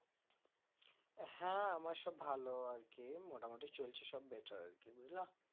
হ্যাঁ আমার সব ভালো আর কি মোটামুটি চলছে সব better আরকি বুঝলা